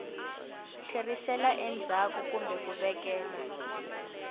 tlherisela endzhaku kumbe ku vekela